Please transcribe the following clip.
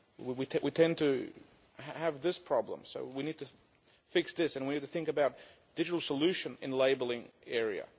We tend to have this problem, so we need to fix this and we need to think about digital solutions in the labelling area.